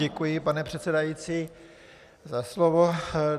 Děkuji, pane předsedající, za slovo.